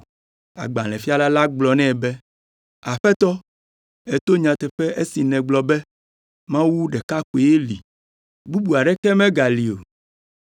Agbalẽfiala la gblɔ nɛ be, “Aƒetɔ, èto nyateƒe esi nègblɔ be Mawu ɖeka koe li, bubu aɖeke megali o,